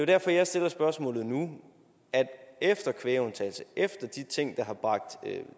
derfor jeg stiller spørgsmålet nu efter kvægundtagelse og efter de ting der har bragt